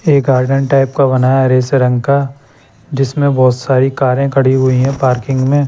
एक garden type का बनाया हरे से रंग का जिसमें बहोत सारी कारे खड़ी हुई है पार्किंग में--